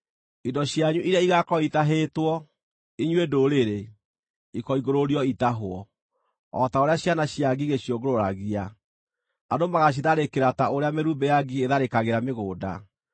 Indo cianyu iria igaakorwo itahĩtwo, inyuĩ ndũrĩrĩ, ikoingũrũrio itahwo, o ta ũrĩa ciana cia ngigĩ ciũngũrũragia; andũ magaacitharĩkĩra ta ũrĩa mĩrumbĩ ya ngigĩ ĩtharĩkagĩra mĩgũnda.